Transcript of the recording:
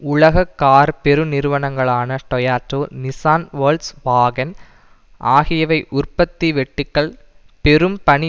உலக கார் பெருநிறுவனங்களான Toyota Nissan Volkswagen ஆகியவை உற்பத்தி வெட்டுக்கள் பெரும் பணி